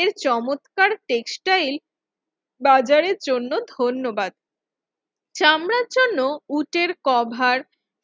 এর চমৎকার টেক্সটাইল বাজারের জন্য ধন্যবাদ। চামড়ার জন্য উটের কভার